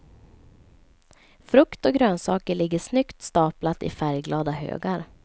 Frukt och grönsaker ligger snyggt staplat i färgglada högar.